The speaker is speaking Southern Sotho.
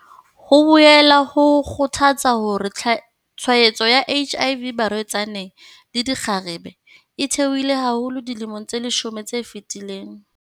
Ho boela ho kgothatsa hore tshwaetso ya HIV barwetsaneng le dikgarebe e theohile haholo dilemong tse leshome tse fetileng.